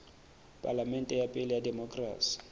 palamente ya pele ya demokerasi